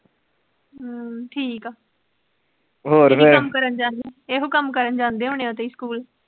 ਹਮ ਠੀਕ ਆ, ਹੋਰ ਫਿਰ, ਇਹੋ ਕੰਮ ਕਰਨ ਜਾਂਦੇ ਇਹੋ ਕੰਮ ਹੋਣੇ ਓ ਤੁਸੀਂ school